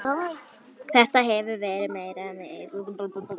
Þetta hafi verið meiriháttar mistök